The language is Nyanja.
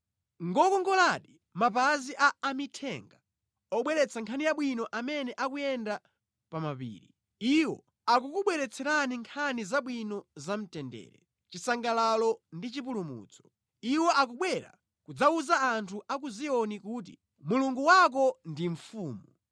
Ngokongoladi mapazi a amithenga obweretsa nkhani yabwino amene akuyenda pa mapiri. Iwo akukubweretserani nkhani zabwino za mtendere, chisangalalo ndi chipulumutso. Iwo akubwera kudzawuza anthu a ku Ziyoni kuti, “Mulungu wako ndi mfumu!”